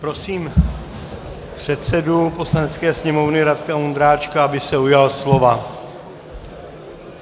Prosím předsedu Poslanecké sněmovny Radka Vondráčka, aby se ujal slova.